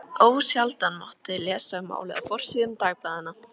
Þú veist hvað það það þýðir að vera kvenmannslaus?